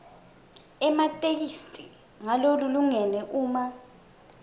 ematheksthi ngalokulingene uma